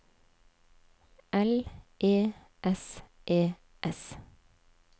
L E S E S